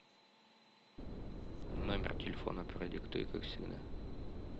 номер телефона продиктуй как всегда